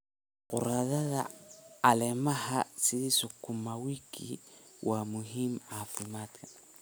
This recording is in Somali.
Khudradda caleemaha sida sukuuma wiki waa muhiim caafimaadka.